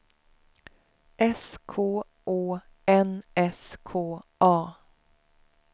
S K Å N S K A